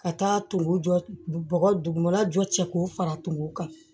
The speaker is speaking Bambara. Ka taa tumu jɔ bɔgɔ dugumana jɔ cɛ k'o fara tumu kan